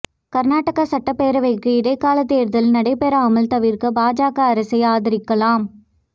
கா்நாடக சட்டப் பேரவைக்கு இடைக்காலத் தோ்தல்நடைபெறாமல் தவிா்க்க பாஜக அரசை ஆதரிக்கலாம்